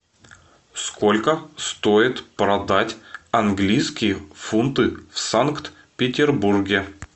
сколько стоит продать английские фунты в санкт петербурге